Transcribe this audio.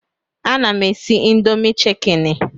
Ana m esi indomi chikeni